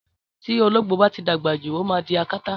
Tí olóngbò bá ti dàgbà jù ó máa di akátá